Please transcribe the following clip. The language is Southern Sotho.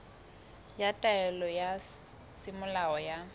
ya taelo ya semolao ya